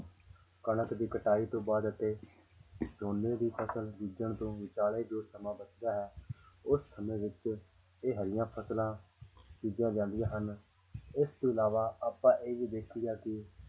ਕਣਕ ਦੀ ਕਟਾਈ ਤੋਂ ਬਾਅਦ ਅਤੇ ਝੋਨੇ ਦੀ ਫ਼ਸਲ ਬੀਜਣ ਤੋਂ ਵਿਚਾਲੇ ਜੋ ਸਮਾਂ ਬਚਦਾ ਹੈ ਉਸ ਸਮੇਂ ਵਿੱਚ ਇਹ ਹਰੀਆਂ ਫ਼ਸਲਾਂ ਬੀਜੀਆਂ ਜਾਂਦੀਆਂ ਹਨ ਇਸ ਤੋਂ ਇਲਾਵਾ ਆਪਾਂ ਇਹ ਵੀ ਦੇਖੀਦਾ ਕਿ